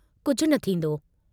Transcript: कुझ न थींदो।